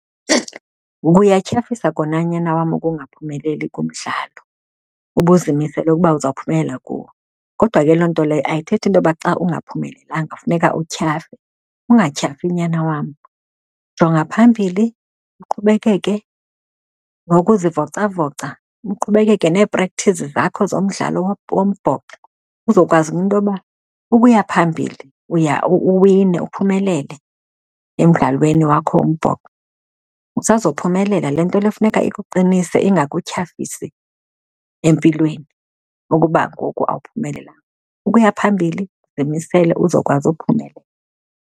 Kuyatyhafisa kona, nyana wam, ukungaphumeleli kumdlalo ubuzimisele ukuba uzawuphumelela kuwo kodwa ke loo nto leyo ayithethi into yoba xa ungaphumelelanga kufuneka utyhafe. Ungatyhafi, nyana wam. Jonga phambili uqhubekeke nokuzivocavoca, uqhubekeke nee-practise zakho zomdlalo wombhoxo, uzokwazi intoba ukuya phambili uya uwine uphumelele emdlalweni wakho wombhoxo. Usazophumelela. Le nto le kufuneka ikuqinise ingakutyhafisi empilweni ukuba ngoku awuphumelelanga. Ukuya phambili zimisele uzawukwazi ukuphumelela.